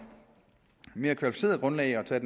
mere kvalificeret grundlag at tage